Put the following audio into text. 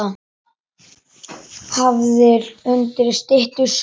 Hafður undir styttu sá.